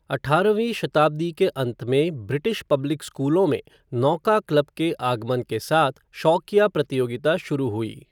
अठारहवीं शताब्दी के अंत में ब्रिटिश पब्लिक स्कूलों में 'नौका क्लब' के आगमन के साथ शौकिया प्रतियोगिता शुरू हुई।